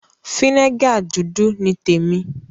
Fínégà dúdú ni témi.